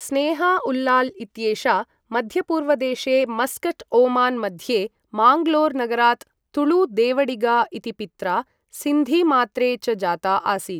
स्नेहा उल्लाल् इत्येषा मध्यपूर्वदेशे Muscat Oman मध्ये, माङ्गलोर् नगरात् तुळु देवडिगा इति पित्रा, सिन्धीमात्रे च जाता आसीत्।